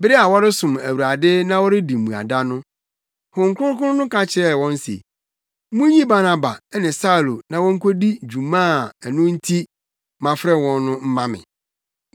Bere a wɔresom Awurade na wɔredi mmuada no, Honhom Kronkron no ka kyerɛɛ wɔn se, “Munyi Barnaba ne Saulo na wonkodi dwuma a ɛno nti mafrɛ wɔn no mma me.”